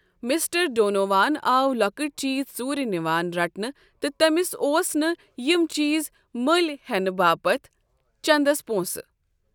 Mister Donovan آو لۄکٕٹۍ چیز ژوٗرِ نِوان رٹنہٕ تہٕ تمِس اوس نہٕ یِم چیز مٔلۍ ہٮ۪نہٕ باپت چندس پونٛسہٕ ۔